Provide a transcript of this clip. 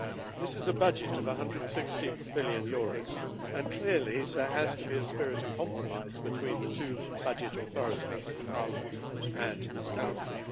This is a budget of EUR 160 billion, and clearly there has to be a spirit of compromise between the two budget authorities Parliament and the Council.